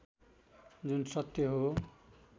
जुन सत्य हो